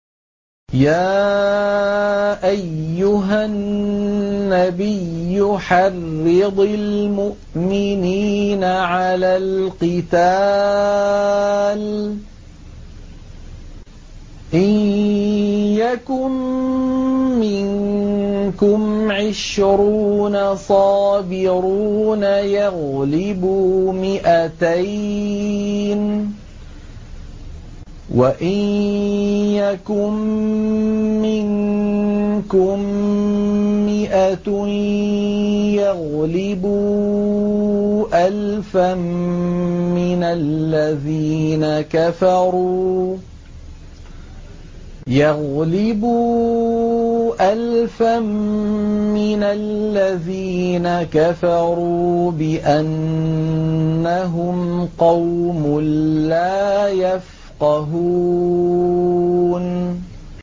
يَا أَيُّهَا النَّبِيُّ حَرِّضِ الْمُؤْمِنِينَ عَلَى الْقِتَالِ ۚ إِن يَكُن مِّنكُمْ عِشْرُونَ صَابِرُونَ يَغْلِبُوا مِائَتَيْنِ ۚ وَإِن يَكُن مِّنكُم مِّائَةٌ يَغْلِبُوا أَلْفًا مِّنَ الَّذِينَ كَفَرُوا بِأَنَّهُمْ قَوْمٌ لَّا يَفْقَهُونَ